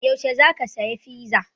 Yaushe za ka saya fiza?